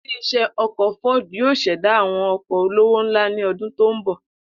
Ilé is̩é̩ o̩kò̩ Ford yóò s̩è̩dá àwo̩n o̩kò̩ olówó ńlá ní o̩dún tó ń bò̩